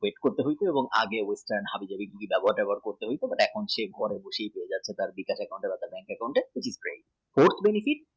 আগের মতন হবে না যখন ব্যবহার ট্যাবহার করতে হতো এক সেটা ঘরে বসে হয়ে যাচ্ছে বিকাশ বা bank account straight